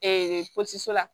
la